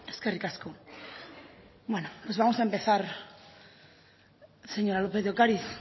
eskerrik asko bueno pues vamos a empezar señora lópez de ocariz